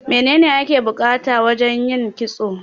Me ne ne ake bukata wajan yin kitso?